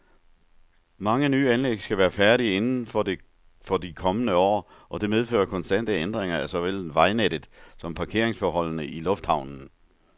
Mange nye anlæg skal være færdige inden for de kommende år, og det medfører konstante ændringer af såvel vejnettet som parkeringsforholdene i lufthavnen.